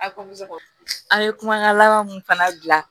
A an ye kumakan laban mun fana gilan